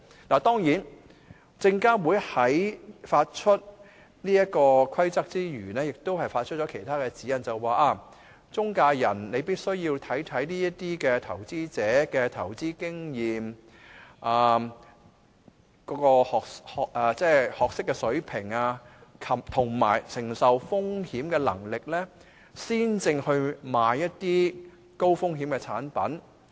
當然，證監會發出這個《規則》之餘，亦發出了其他指引，要求中介人必須考慮投資者的投資經驗、學識水平，以及承受風險的能力，才售賣一些高風險產品。